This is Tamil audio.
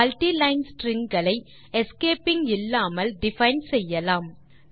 multi லைன் ஸ்ட்ரிங் களை எஸ்கேப்பிங் இல்லாமல் டிஃபைன் செய்யலாம்